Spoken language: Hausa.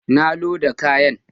Na loda kayan.